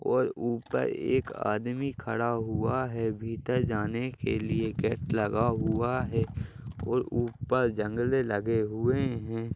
और ऊपर एक आदमी खड़ा हुआ है भीतर जाने के लिए गेट लगा हुआ और ऊपर जंगले लगे हुए हैं।